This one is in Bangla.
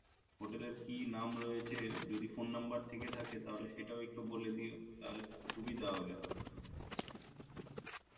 হোটেলের কি নাম রয়েছে যদি Phone Number থেকে থাকে তাহলে সেটাও একটু বলে দিও তাহলে সুবিধা হবে